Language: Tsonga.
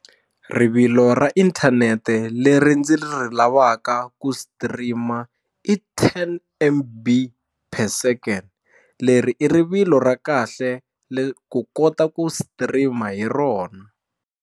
Rivilo ra inthanete leri ndzi ri lavaka ku stream-a i ten M_B per second leri i rivilo ra kahle ku kota ku stream hi rona.